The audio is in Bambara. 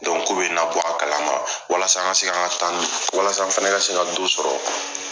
k'o bɛ n labɔ a kalama. Walasa an ka se ka an ta ni , walasa an fana ka se ka do sɔrɔ.